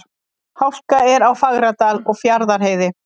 Hálka er á Fagradal og Fjarðarheiði